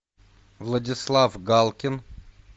владислав галкин